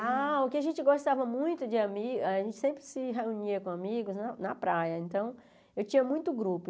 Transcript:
Ah, o que a gente gostava muito de ami, a gente sempre se reunia com amigos na na praia, então eu tinha muito grupo.